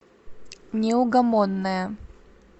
неугомонная